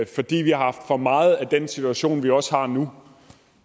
fordi vi har haft for meget af den type situation vi også har nu